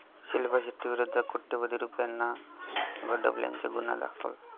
शिल्पा शेट्टीविरोधात कोट्यवधी रुपयांना गंडवल्याचा गुन्हा दाखल